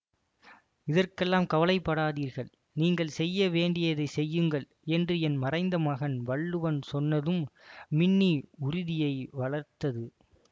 இதற்கெல்லாம் கவலைப்படாதீர்கள் நீங்கள் செய்ய வேண்டியதை செய்யுங்கள் என்று என் மறைந்த மகன் வள்ளுவன் சொன்னதும் மின்னி உறுதியை வளர்த்தது